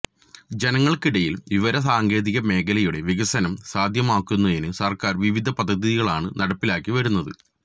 ജനങ്ങള്ക്കിടിയില് വിവര സാങ്കേതിക മേഖലയുടെ വികസനം സാധ്യമാക്കുന്നതിന് സര്ക്കാര് വിവിധ പദ്ധതികളാണ് നടപ്പിലാക്കി വരുന്നത്